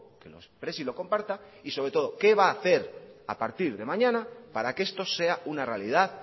que lo exprese y lo comparta y sobre todo qué va hacer a partir de mañana para que esto sea una realidad